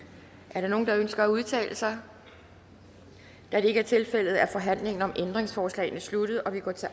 er der nogen der ønsker at udtale sig da det ikke er tilfældet er forhandlingen om ændringsforslagene sluttet og vi går til